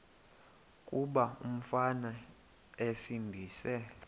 kuba umfana esindise